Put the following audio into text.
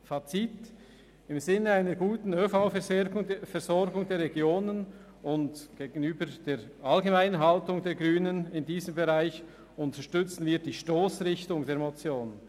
Fazit: Im Sinn einer guten ÖV-Versorgung der Regionen und der allgemeinen Haltung der Grünen in diesem Bereich unterstützen wir die Stossrichtung der Motion.